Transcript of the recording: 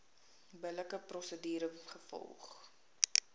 billike prosedure gevolg